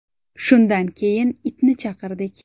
Shundan keyin itni chaqirdik.